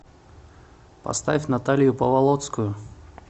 поставь наталью паволоцкую